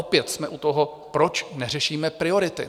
Opět jsme u toho, proč neřešíme priority?